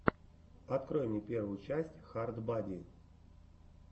открой мне первую часть хард бади